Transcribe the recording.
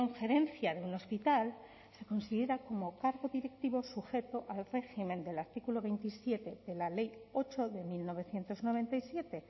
gerencia de un hospital se considera como cargo directivo sujeto al régimen del artículo veintisiete de la ley ocho de mil novecientos noventa y siete